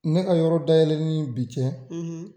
Ne ka yɔrɔ dayɛlɛli ni bi cɛ